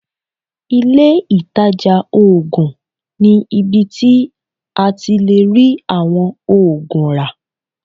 Ilé ìtàjà oògùn ni ibi tí a ti lè rí àwọn oògùn rà.